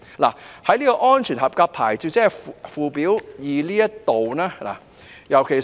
在安全合格牌照，即附表2這部分，尤其是......